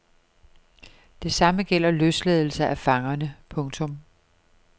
Det samme gælder løsladelse af fangerne. punktum